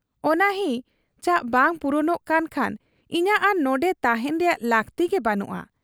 ᱚᱱᱟ ᱦᱤᱪᱟᱹ ᱵᱟᱝ ᱯᱩᱨᱩᱱᱚᱜ ᱠᱟᱱ ᱠᱷᱟᱱ ᱤᱧᱟᱹᱜ ᱟᱨ ᱱᱚᱱᱰᱮ ᱛᱟᱦᱮᱸᱱ ᱨᱮᱭᱟᱜ ᱞᱟᱹᱠᱛᱤ ᱜᱮ ᱵᱟᱹᱱᱩᱜ ᱟ ᱾